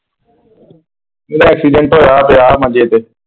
ਮੇਰਾ ਐਕਸੀਡੈਂਟ ਹੋਇਆ ਪਿਆ ਮੰਜੇ ਤੇ।